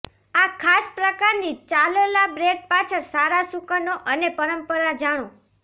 આ ખાસ પ્રકારની ચાલલા બ્રેડ પાછળ સારા શુકનો અને પરંપરા જાણો